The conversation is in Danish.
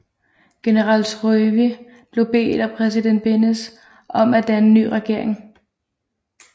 General Syrový blev bedt af præsident Beneš om at danne ny regering